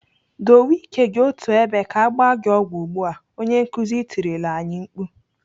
"Dowe ike gị otú ebe ka agba gị ọgwụ ugbu a!" Onye nkuzi tirila anyị mkpu.